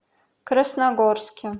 красногорске